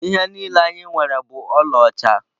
Ihe niile anyị nwere bụ ọlaọcha.